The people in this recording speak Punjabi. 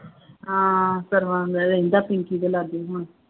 ਹਾਂ ਸਰਵਣ ਦਾ ਰਹਿੰਦਾ, ਪੀ ਪੀ ਕੇ ਲੱਗ ਜੂ ਹੁਣ